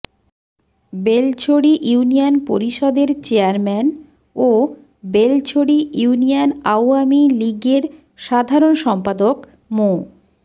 Belchhari union পরিষদের chairman ও Belchhari union Awami লীগের সাধারণ সম্পাদক মো